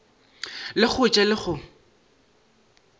le go ja le go